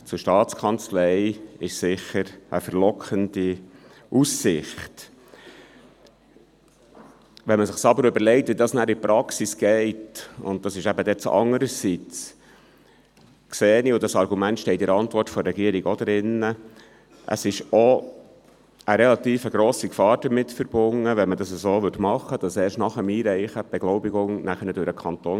Nun zum «andererseits», welches auch in der Antwort des Regierungsrates steht: Wenn man es sich überlegt, wie es in der Praxis abliefe, sieht man, dass auch eine relativ grosse Gefahr damit verbunden ist, die Beglaubigung durch den Kanton erst nach dem Einreichen vorzunehmen.